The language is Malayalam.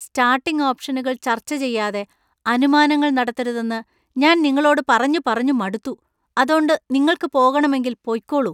സ്റ്റാർട്ടിങ് ഓപ്ഷനുകൾ ചർച്ച ചെയ്യാതെ അനുമാനങ്ങൾ നടത്തരുതെന്ന് ഞാൻ നിങ്ങളോട് പറഞ്ഞു പറഞ്ഞു മടുത്തു, അതോണ്ട് നിങ്ങൾക്ക് പോകണമെങ്കിൽ പൊയ്ക്കോളൂ .